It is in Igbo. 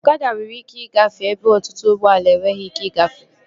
Ọkada nwere ike igafee ebe ọtụtụ ụgbọala enweghị ike igafee